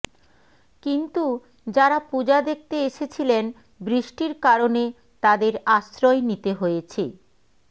কিন্তু যারা পূজা দেখতে এসেছিলেন বৃষ্টির কারণে তাদের আশ্রয় নিতে হয়েছে